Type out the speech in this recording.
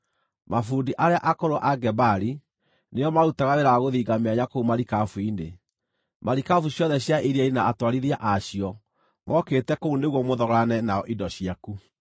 Mabundi arĩa akũrũ a Gebali nĩo maarutaga wĩra wa gũthinga mĩanya kũu marikabu-inĩ. Marikabu ciothe cia iria-inĩ na atwarithia a cio mookĩte kũu nĩguo mũthogorane nao indo ciaku.